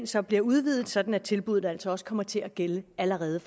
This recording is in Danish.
så bliver udvidet sådan at tilbuddet altså også kommer til at gælde allerede